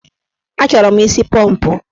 Achọrọ mụ isi pọmpụ.